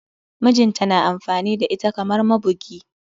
Mijinta na amfani da ita kamar mabugi.